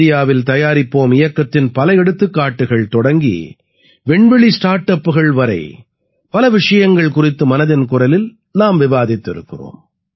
இந்தியாவில் தயாரிப்போம் இயக்கத்தின் பல எடுத்துக்காட்டுகள் தொடங்கி விண்வெளி ஸ்டார்ட் அப்புகள் வரை பல விஷயங்கள் குறித்து மனதின் குரலில் நாம் விவாதித்திருக்கிறோம்